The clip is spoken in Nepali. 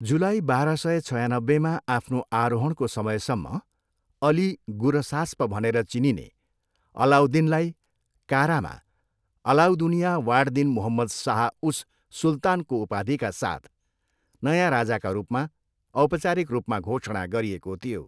जुलाई बाह्र सय छयानब्बेमा आफ्नो आरोहणको समयसम्म अली गुरसास्प भनेर चिनिने अलाउद्दिनलाई कारामा अलाउदुनिया वाड दिन मुहम्मद शाह उस सुल्तानको उपाधिका साथ नयाँ राजाका रूपमा औपचारिक रूपमा घोषणा गरिएको थियो।